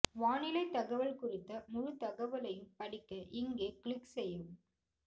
வானிலை தகவல் குறித்த முழு தகவலையும் படிக்க இங்கே க்ளிக் செய்யவும்